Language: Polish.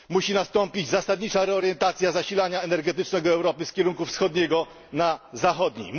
Musi nastąpić zasadnicza reorientacja zasilania energetycznego Europy z kierunku wschodniego na zachodni.